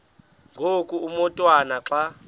ngoku umotwana xa